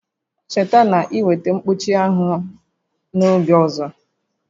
Cheta na ị weta mkpuchi anwụ n'oge ọzọ!